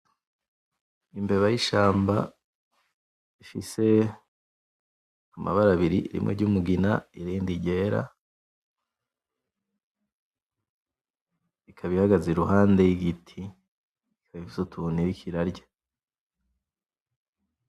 Imbeba y' ishamba ifise amabara abiri rimwe ry' umugina n' irindi ryera. Ikaba ihagaze iruhande y' igiti ikaba ifise utuntu iriko irarya.